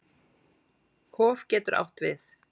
Hof getur átt við